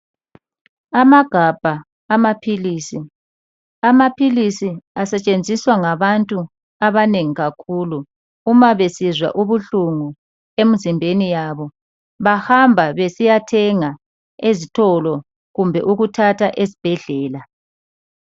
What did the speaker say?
Amagabha amaphilisi. Amaphilisi asetshenziswa ngabantu abanengi kakhulu uma besizwa ubuhlungu emzimbeni yabo bahamba besiyathenga ezitolo kumbe ukuthatha esibhedlela.